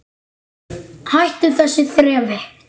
Hættu þessu þrefi!